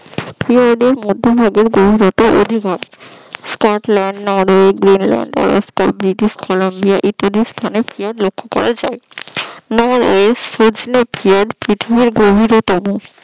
ক্ষীয়তদের মধ্যভাগের গভীরতা অধিক হয় স্কটল্যান্ড, নরওয়ের, গ্রিনল্যান্ড, কলম্বিয়া এই স্থানে ক্ষীয়ত লক্ষ্য করা যায় নরওয়ের ক্ষীয়ত পৃথিবীর গভীরতম